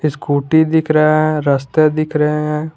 Scooty दिख रहा है रस्ते दिख रहे हैं।